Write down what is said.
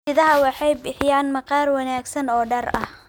Idaha waxay bixiyaan maqaar wanaagsan oo dhar ah.